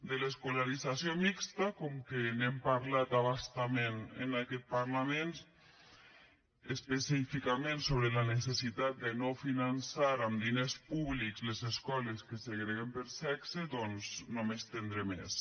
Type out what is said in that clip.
en l’escolarització mixta com que hem parlat a bastament en aquest parlament específicament sobre la necessitat de no finançar amb diners públics les escoles que segreguen per sexe doncs no m’hi estendré més